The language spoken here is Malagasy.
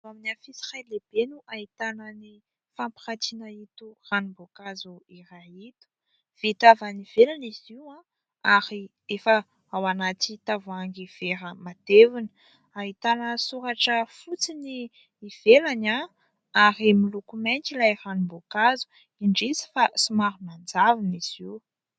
Amin'ny afisy iray lehibe no ahitana ny fampiratiana itony ranom-boankazo iray itony, vita avy any ivelany izy io; ary efa ao anaty tavoahangy vera matevina, ahitana soratra fotsy ny ivelany; ary miloko mainty ilay ranom-boankazo; indrisy fa somary manjavona izy io.